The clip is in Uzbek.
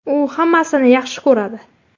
U hammasini yaxshi ko‘radi.